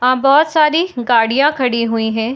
आ बहोत सारी गाड़ियां खड़ी हुई है।